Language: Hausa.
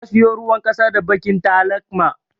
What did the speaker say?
Na siyo ruwan ƙasa da baƙin talakma.